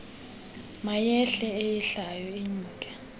mayehle eyehlayo inyuke